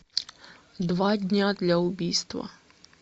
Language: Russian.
два дня для убийства